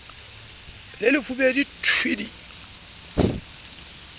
le lefubedu t w d